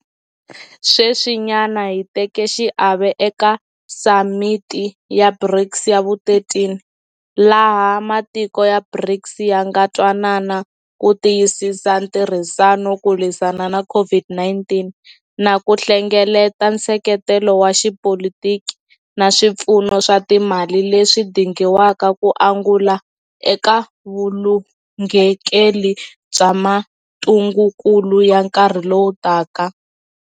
Sweswinyana hi teke xiave eka Samiti ya BRICS ya vu13, laha matiko ya BRICS ya nga twanana ku tiyisisa ntirhisano ku lwisana na COVID-19 na ku hlengeleta nseketelo wa xipolitiki na swipfuno swa timali leswi dingiwaka ku angula eka vulunghekeli bya mitungukulu ya nkarhi lowu taka.